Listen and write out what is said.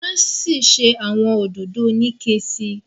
wan sí ṣe awọn òdodo Onike sí.